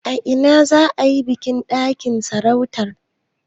A ina za a yi bikin naɗin sarautar?